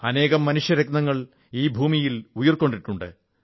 അനേകം മനുഷ്യരത്നങ്ങൾ ഈ ഭൂമിയിൽ ഉയിർകൊണ്ടിട്ടുണ്ട്